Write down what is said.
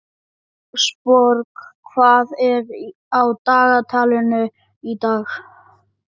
Ásborg, hvað er á dagatalinu í dag?